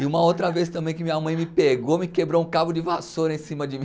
E uma outra vez também que minha mãe me pegou, me quebrou um cabo de vassoura em cima de mim.